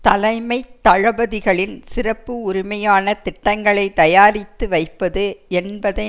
தலைமை தளபதிகளின் சிறப்பு உரிமையான திட்டங்களை தயாரித்து வைப்பது என்பதை